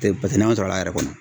Te pase n'an bɛ sɔrɔ k'a yɛrɛ kɔnɔ